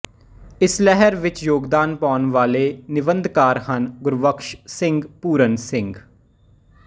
ਇਸ ਲਹਿਰ ਵਿੱਚ ਯੋਗਦਾਨ ਪਾਉਣ ਵਾਲੇ ਨਿੰਬਧਕਾਰ ਹਨਃ ਗੁਰਬਖਸ ਸਿੰਘ ਪੂਰਨ ਸਿੰਘ